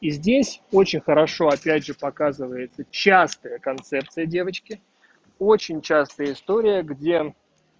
и здесь очень хорошо опять же показывает частые концепция девочки очень часто история где